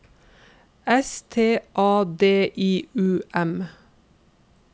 S T A D I U M